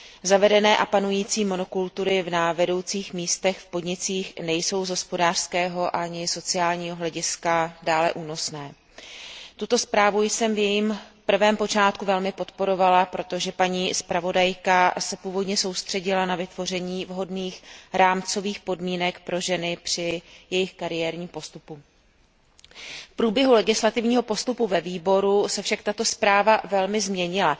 Zavedené a panující monokultury na vedoucích místech v podnicích nejsou z hospodářského ani sociálního hlediska dále únosné. Tuto zprávu jsem v jejím prvém počátku velmi podporovala, protože paní zpravodajka se původně soustředila na vytvoření vhodných rámcových podmínek pro ženy při jejich kariérním postupu. V průběhu legislativního postupu ve výboru se však tato zpráva velmi změnila.